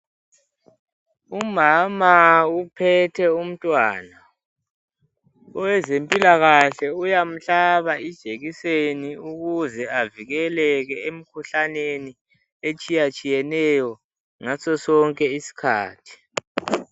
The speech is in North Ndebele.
Umama uphethe umntwana. Owezempilakahle, uyamhlaba ijekiseni, ukuze avikeleke emikhuhlaneni, etshiyatshiyeneyo sonke isikhathi.